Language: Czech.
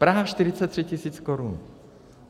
Praha 43 tisíc korun.